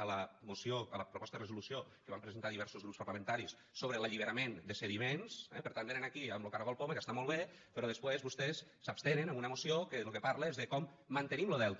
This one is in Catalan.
a la proposta de resolució que vam presentar diversos grups parlamentaris sobre l’alliberament de sediments eh per tant venen aquí amb lo caragol poma que està molt bé però després vostès s’abstenen en una moció que de lo que parla és de com mantenim lo delta